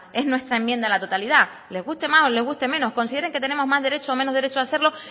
es nuestra enmienda en la totalidad les guste más o les guste menos consideren que tenemos más derecho o menos derecho de hacerlo